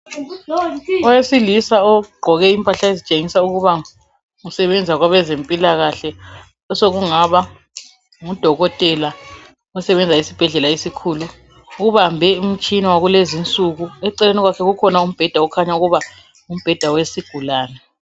Owesilisa egqoke impahla ezitshengisa ukuba usebenza kwabezempilakahle osokungaba ngudokotela. Ubambe umtshina wakulezi insuku. Eceleni kwakhe kukhona umbeda okhanya ukuba ngumbed wesigulane.